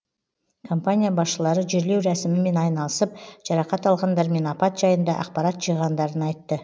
компания басшылары жерлеу рәсімімен айналысып жарақат алғандар мен апат жайында ақпарат жиғандарын айтты